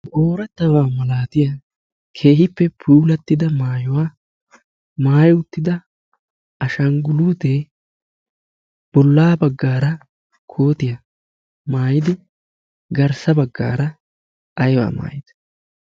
oorettawaa malaatiya keehippe puilattida maayuwaa maayi uttida ashangguluutee bollaa baggaara kootiyaa maayidi garssa baggaara aiwaa maayiid